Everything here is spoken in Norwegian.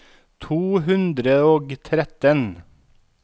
to hundre og tretten